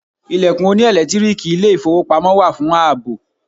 Ilẹ̀kùn oní ẹ̀lẹ́tíríìkì ilé ìfowópamọ́ wà fún àbò.